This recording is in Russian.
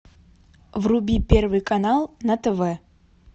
вруби первый канал на тв